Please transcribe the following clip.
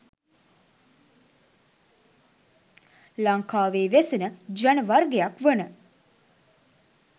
ලංකාවේ වෙසෙන ජන වර්ගයක් වන